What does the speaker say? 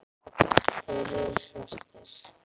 Þeir eru svartir.